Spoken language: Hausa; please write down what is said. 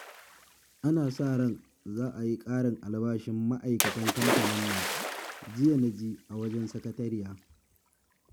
Ana sa ran za a yi ƙarin albashin ma'aikatan kamfanin nan, jiya na ji a wajen sakatariya